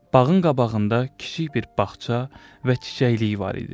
Bağın qabağında kiçik bir bağça və çiçəkləyi var idi.